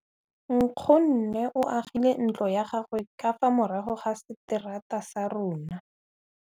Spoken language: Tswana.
Nkgonne o agile ntlo ya gagwe ka fa morago ga seterata sa rona.